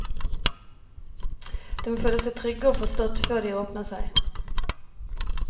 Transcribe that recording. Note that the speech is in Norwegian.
De må føle seg trygge og forstått før de åpner seg.